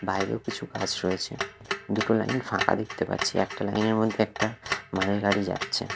বাইরেও কিছু গাছ রয়েছে দুটো লাইন ফাঁকা দেখতে পাচ্ছি একটা লাইনের মধ্যে একটা মালগাড়ি যাচ্ছে।